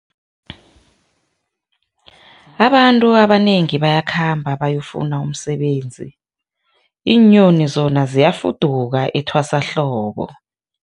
Abantu abanengi bayakhamba bayokufuna umsebenzi, iinyoni zona ziyafuduka etwasahlobo.